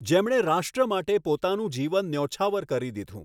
જેમણે રાષ્ટ્ર માટે પોતાનું જીવન ન્યૌછાવર કરી દીધું.